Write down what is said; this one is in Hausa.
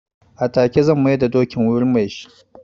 A take zan mai da dokin wurin me shi.